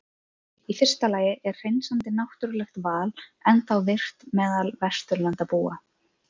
Í fyrsta lagi er hreinsandi náttúrulegt val ennþá virkt meðal Vesturlandabúa.